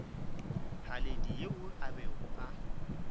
haledi yo a bego a